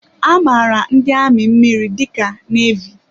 A maara ndị amị mmiri dị ka nevy.